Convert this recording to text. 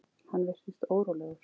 Hann virtist órólegur.